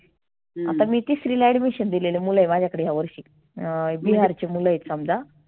आता मी तीसरीला admission दिलेले मुलं हे माझ्याकडे ह्या वर्षी अं बिहारचे मुलं आहे समजा.